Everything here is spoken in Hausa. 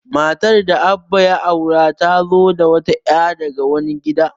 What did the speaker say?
Matar da Abba ya aura, ta zo da wata ya' daga wani gida.